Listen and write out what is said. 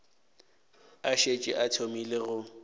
a šetše a thomile go